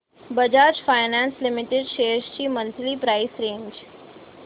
Bajaj finance limited shares ची monthly price range